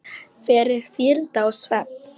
fyrir hvíld og svefn